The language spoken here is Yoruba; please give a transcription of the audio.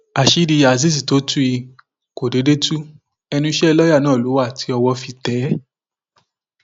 àṣírí azeez tó tú yìí kò déédé tu ẹnu iṣẹ lọọyà náà ló wà tí ọwọ fi tẹ ẹ